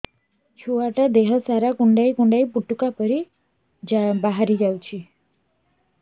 ଛୁଆ ଟା ଦେହ ସାରା କୁଣ୍ଡାଇ କୁଣ୍ଡାଇ ପୁଟୁକା ବାହାରି ଯାଉଛି